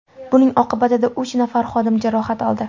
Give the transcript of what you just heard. Buning oqibatida uch nafar xodim jarohat oldi.